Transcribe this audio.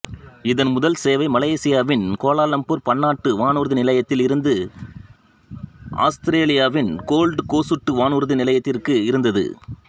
இதன் முதல் சேவை மலேசியாவின் கோலாலம்பூர் பன்னாட்டு வானூர்தி நிலையத்தில் இருந்து ஆத்திரேலியாவின் கோல்டு கோசுட்டு வானூர்தி நிலையத்திற்கு இருந்தது